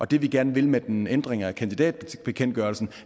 det vi gerne vil med en ændring af kandidatbekendtgørelsen